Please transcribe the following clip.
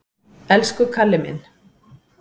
Elsku Kalli minn!